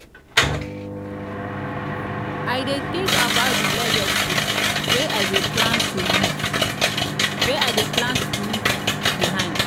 i dey tink about di legacy wey i dey plan to leave behind.